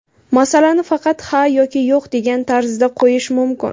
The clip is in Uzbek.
Masalani faqat ha yoki yo‘q degan tarzda qo‘yish mumkin.